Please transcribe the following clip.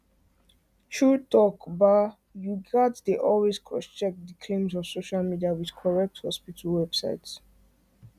true talk ba u gats dey always crosscheck the claims of social media with correct hospital websites